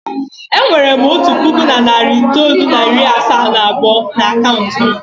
E nwere m otu puku na narị itoolu na iri asaa na abụọ n'akaụntụ m.